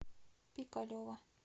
пикалево